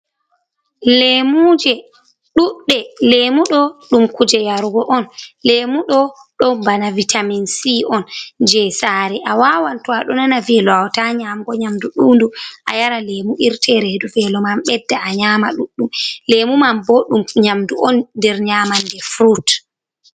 lemoje ɗuɗɗe, lemudo ɗum kuje yarugo on. Lemu do ɗon bana vitamin C on je sare a wawan to a do nana velo wawata nyamgo nyamdu ɗundum a yara lemu irte redu velo man bedda a nyama ɗuɗɗum lemu man bo ɗum nyamdu on der nyamande frut